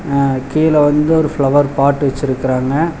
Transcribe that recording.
அ கீழ வந்து ஒரு ஃப்ளவர் பாட் வெச்சிருக்குறாங்க.